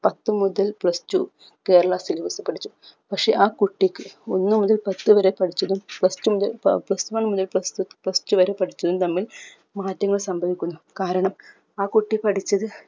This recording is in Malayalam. പത്ത് മുതൽ plus two കേരള syllabus പഠിച്ചു പക്ഷെ ആ കുട്ടിക്ക് ഒന്ന് മുതൽ പത്ത് വരെ പഠിച്ചതും plus two മുതൽ ഏർ plus one മുതൽ plus two plus two വരെ പഠിച്ചതും തമ്മിൽ മാറ്റങ്ങൾ സംഭവിക്കുന്നു കാരണം ആ കുട്ടി പഠിച്ചത്